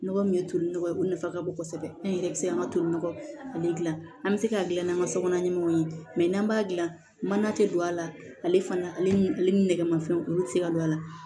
Nɔgɔ min ye toli nɔgɔ ye o nafa ka bon kosɛbɛ an yɛrɛ bɛ se an ka toli nɔgɔ ale bɛ se k'a dilan n'an ka sokɔnɔna ɲɛmɔw ye n'an b'a dilan mana tɛ don a la ale fana ale ni ale ni nɛgɛmafɛnw olu tɛ se ka don a la